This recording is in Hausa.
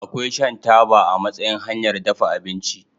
Akwai shan taba a matsayin hanyar dafa abinci.